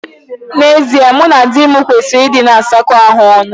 N'ezie, mụ na dị m kwesịrị ịna asakọ ahụ ọnụ.